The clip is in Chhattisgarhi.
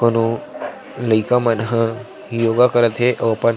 कोनो लइका मन ह योगा करत हे अऊ अपन--